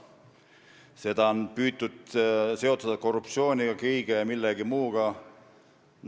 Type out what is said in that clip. Seda on püütud seostada korruptsiooni ja mille kõige muuga.